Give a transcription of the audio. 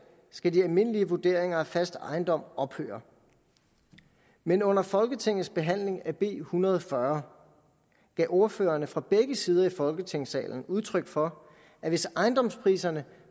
skal de almindelige vurderinger af fast ejendom ophøre men under folketingets behandling af b en hundrede og fyrre gav ordførerne fra begge sider af folketingssalen udtryk for at hvis ejendomspriserne